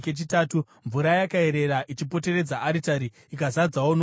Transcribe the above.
Mvura yakaerera ichipoteredza aritari ikazadzawo nomugero.